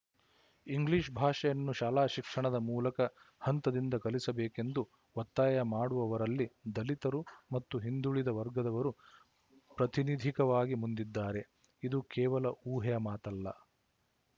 English ಭಾಷೆಯನ್ನು ಶಾಲಾಶಿಕ್ಷಣದ ಮೂಲಕ ಹಂತದಿಂದ ಕಲಿಸಬೇಕೆಂದು ಒತ್ತಾಯ ಮಾಡುವವರಲ್ಲಿ ದಲಿತರು ಮತ್ತು ಹಿಂದುಳಿದ ವರ್ಗದವರು ಪ್ರತಿನಿಧಿಕವಾಗಿ ಮುಂದಿದ್ದಾರೆ ಇದು ಕೇವಲ ಊಹೆಯ ಮಾತಲ್ಲ